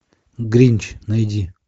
гринч найди